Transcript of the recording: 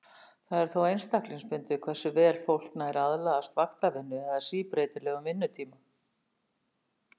Það er þó einstaklingsbundið hversu vel fólk nær að aðlagast vaktavinnu eða síbreytilegum vinnutíma.